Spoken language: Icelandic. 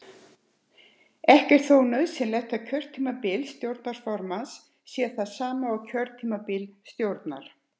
Ekki er þó nauðsynlegt að kjörtímabil stjórnarformanns sé það sama og kjörtímabil stjórnar.